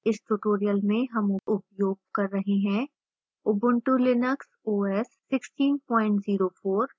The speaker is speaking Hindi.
इस tutorial में हम उपयोग कर रहे हैं: ubuntu linux os 1604